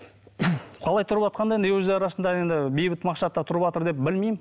қалай тұрватқанда енді өз арасында енді бейбіт мақсатта тұрватыр деп бімеймін